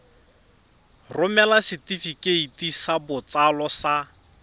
romela setefikeiti sa botsalo sa